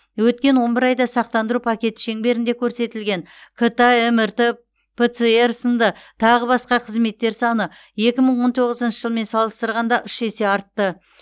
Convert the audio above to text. өткен он бір айда сақтандыру пакеті шеңберінде көрсетілген кт мрт пцр сынды тағы басқа қызметтер саны екі мың он тоғызыншы жылмен салыстырғанда үш есе артты